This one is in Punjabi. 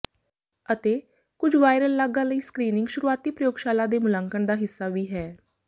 ਅਤੇ ਕੁਝ ਵਾਇਰਲ ਲਾਗਾਂ ਲਈ ਸਕ੍ਰੀਨਿੰਗ ਸ਼ੁਰੂਆਤੀ ਪ੍ਰਯੋਗਸ਼ਾਲਾ ਦੇ ਮੁਲਾਂਕਣ ਦਾ ਹਿੱਸਾ ਵੀ ਹੈ